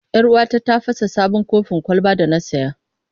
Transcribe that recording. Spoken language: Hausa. Yar uwata ta fasa sabon kofin kwalban da na saya.